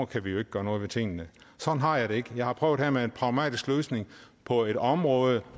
kan vi jo ikke gøre noget ved tingene sådan har jeg det ikke jeg har prøvet her med en pragmatisk løsning på et område